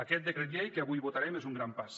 aquest decret llei que avui votarem és un gran pas